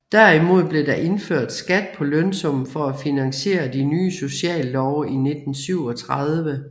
Derimod blev der indført skat på lønsummen for at finansiere de nye sociallove i 1937